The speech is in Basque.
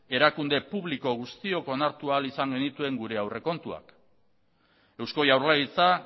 erakunde publiko guztiok onartu ahal izan genituen gure aurrekontuak eusko jaurlaritza